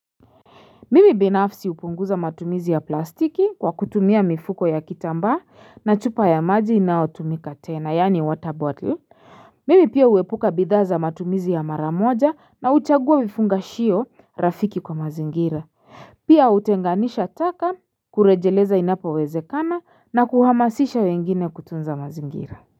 Mimi binafsi upunguza matumizi ya plastiki kwa kutumia mifuko ya kitambaa na chupa ya maji inayotumika tena, yaani water bottle. Mimi pia uepuka bidhaa za matumizi ya mara moja na uchagua vifangashio rafiki kwa mazingira. Pia utenganisha taka kurejeleza inapo wezekana na kuhamasisha wengine kutunza mazingira.